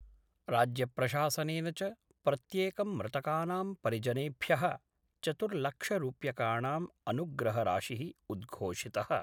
राज्य प्रशासनेन च प्रत्येकं मृतकानां परिजनेभ्य: चतुर्लक्षरूप्यकाणां अनुग्रहराशि: उद्घोषित:।